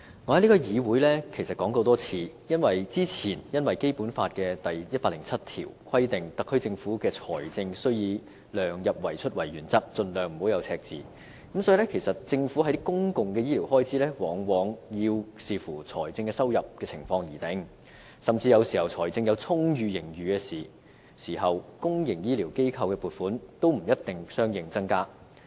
我在這個議會其實說過很多次，由於《基本法》第一百零七條規定特區政府的財政預算以量入為出為原則，盡量避免赤字，所以政府的公共醫療開支往往要視乎財政收入的情況而定，甚至有時候財政有充裕盈餘時，對公營醫療機構的撥款也不一定相應增加。